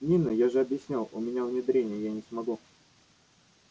нина я же объяснял у меня внедрение я не смогу